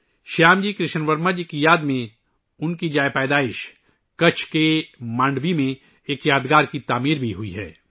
شیام جی کرشن ورما جی کی یاد میں ان کی جائے پیدائش، مانڈوی میں ایک یادگار بھی تعمیر کی گئی ہے